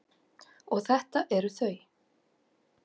Og þetta eru þau.